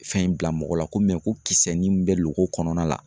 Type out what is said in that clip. Fɛn in bila mɔgɔ la ko mɛ ko kisɛ ni bɛ loko kɔnɔna la